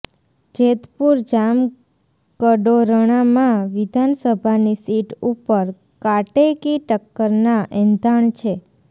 જેતપુર જામકડોરણા માં વિધાન સભાની સીટ ઉપર કાટેકી ટક્કર ના એંધાણ છે